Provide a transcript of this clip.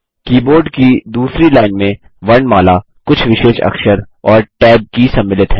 keyboard की दूसरी line में वर्णमाला कुछ विशेष अक्षर और Tab की सम्मिलित हैं